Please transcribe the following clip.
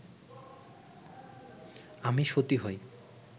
আমি সতী হই